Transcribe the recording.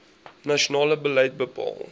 nasionale beleid bepaal